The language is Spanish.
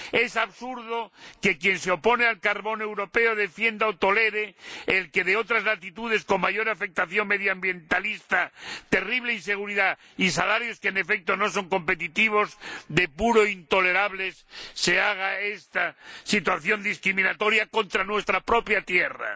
Es absurdo que quien se opone al carbón europeo defienda o tolere el de otras latitudes, que se produce con mayor afectación medioambientalista, terrible inseguridad y salarios que, en efecto, no son competitivos. Es puramente intolerable que se produzca esta situación discriminatoria contra nuestra propia tierra.